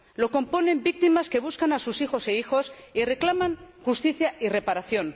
La componen víctimas que buscan a sus hijos e hijas y reclaman justicia y reparación.